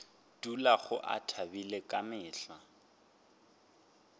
dulago a thabile ka mehla